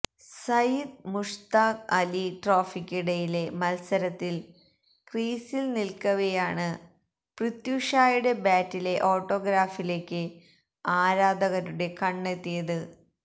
സയിദ് മുഷ്താഖ് അലി ട്രോഫിക്കിടയിലെ മത്സരത്തില് ക്രീസില് നില്ക്കവെയാണ് പൃഥ്വി ഷായുടെ ബാറ്റിലെ ഓട്ടോഗ്രാഫിലേക്ക് ആരാധകരുടെ കണ്ണ് എത്തിയത്